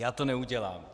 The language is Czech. Já to neudělám.